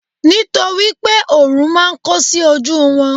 nitoripe orun ma n ko sí oju won